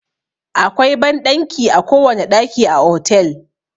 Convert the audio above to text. Akwai banɗanki a kowane ɗaki a otel.